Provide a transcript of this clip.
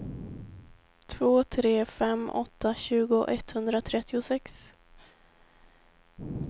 två tre fem åtta tjugo etthundratrettiosex